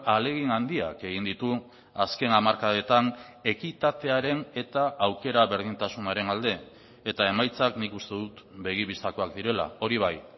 ahalegin handiak egin ditu azken hamarkadetan ekitatearen eta aukera berdintasunaren alde eta emaitzak nik uste dut begi bistakoak direla hori bai